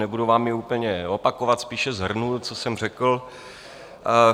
Nebudu vám ji úplně opakovat, spíše shrnu, co jsem řekl.